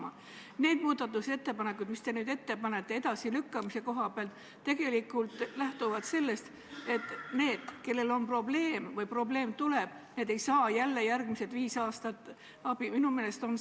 Aga see konkreetne operatsioon, mida mina käsitlen, on selles mõttes erinev – ma tutvustasin seda teile ka eelmisel korral põhjalikult –, et me arutame mandaadi andmist operatsioonile, mida veel ei toimu.